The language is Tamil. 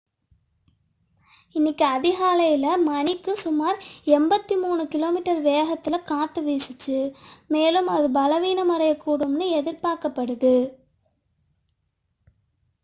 இன்று அதிகாலை மணிக்கு சுமார் 83 km வேகத்தில் காற்று வீசியது மேலும் அது பலவீனமடையக்கூடும் என எதிர்பார்க்கப்படுகிறது